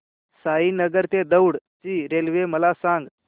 साईनगर ते दौंड ची रेल्वे मला सांग